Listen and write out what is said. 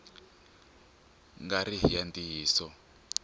nga ri hi ya ntiyiso